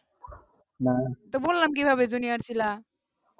তো বল না কি ভাবে junior ছিলা